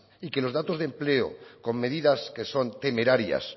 y que los datos de empleo con medidas que son temerarias